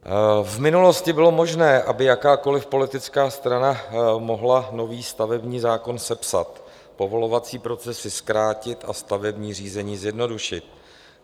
V minulosti bylo možné, aby jakákoliv politická strana mohla nový stavební zákon sepsat, povolovací procesy zkrátit a stavební řízení zjednodušit.